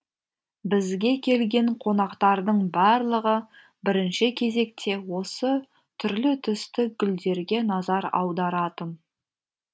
бізге келген қонақтардың барлығы бірінші кезекте осы түрлі түсті гүлдерге назар аударатын